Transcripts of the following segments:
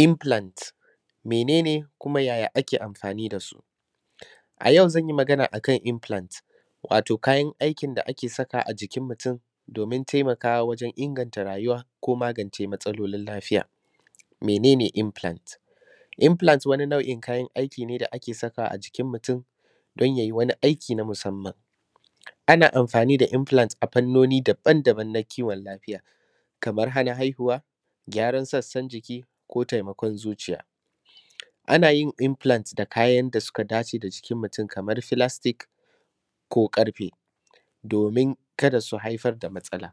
.infulant mene ne kume ya ake amfani dasu a yau zanyiˋ Magana akan infulant wato kayan aikin da ake sakawa domin taimakawa wajen inganta rayuwa ko maganʧe wasu matsaloli. mene ne infulant? Infulant wani nau in kayan aiki ne da ake sakawa a jikin mutun don yayi waniˋ aiki na musamman. ana amfaniˋ da infulant a fannoni daban daban na kiwon lafiya kamar hana haihuwa, gyaran sassan jikiˋ ko taimakon zuciya, anayin infulant da kayan da suka dace da jiˋkin mutun Kaman fulastic ko karfe domin kada su haifar da matsala.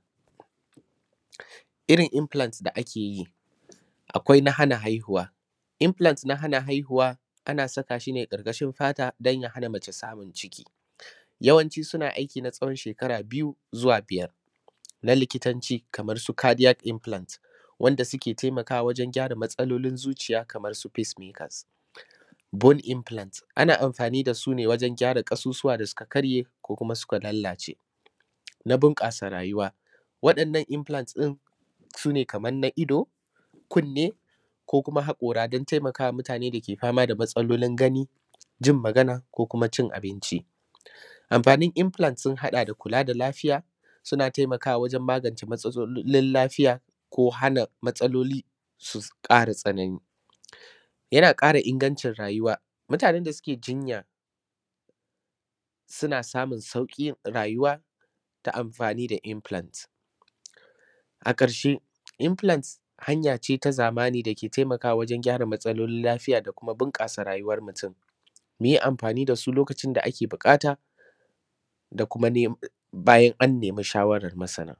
Irrin infulant da akeyiˋ akwai na hana haihuwa, infulant na hana haihuwa ana sakashiˋ ne karkashin fata domin ya hana mace ciki yawanci suna aikiˋ na tsawon shekara biyu zuwa biyar na likitanci Kaman su kadiˋyal infulant wanda ke taimakawa wajen gyara matsalolin zuciya Kaman su fismikas, bon infulant ana amfani da sune wajen gyara kasusuwa da suka karye ko kuma suka lalaʧe na bunkasa rayuwa. wa dannan infulant din sune Kaman na ido, kunne ko kuma hakora dan taimakawa mutane dake fama da matsalolon gani, ji ko kuma ʧin abinciˋ. amfanin infulant sun hada da kula da lafiya suna taimakawa wajen magance matsalolin lafiya ko hana matsaloli su kara tsanani yana kara inganʧin rayuwa mutanen da suke jinya suna samun saukin rayuwa ta amfani da infulant a karshe infulant hanyace ta zamani dake taimkawa wajen gyara matsalolin lafiya da kuma bunkasa rayuwar mutum muyu amfani dasu lokaʧin da ake da bukata da kuma bayan annema shawaran masana.